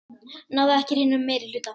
Náði ekki hreinum meirihluta